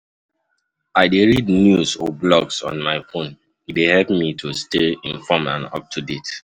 I dey read news or blogs on my phone, e dey help me to stay informed and up-to-date.